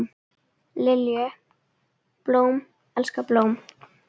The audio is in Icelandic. Lilju, blóm elskar blóm.